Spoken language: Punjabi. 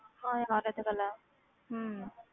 ਹਾਂ ਯਾਰ ਇਹ ਤੇ ਗੱਲ ਹੈ ਹਮ